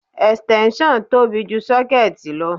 Extension tóbi ju sọ́kéẹ̀tì lọ.